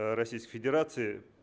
а российской федерации